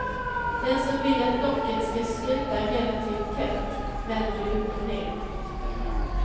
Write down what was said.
Den som vill att locket ska sluta relativt tätt vänder det upp och ner.